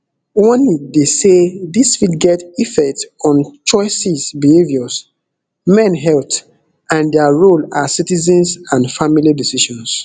warning dey say dis fit get effect on choices behaviours men health and dia role as citizens and family decisions